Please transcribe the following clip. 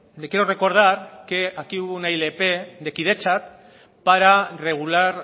le quiero recordar que aquí hubo una ilp de kidetza para regular